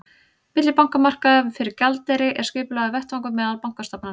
millibankamarkaður fyrir gjaldeyri er skipulagður vettvangur meðal bankastofnana